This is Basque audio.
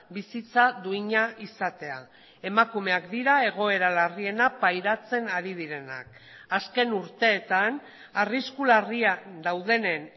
bizitza duina izatea emakumeak dira egoera larriena pairatzen ari direnak azken urteetan arrisku larria daudenen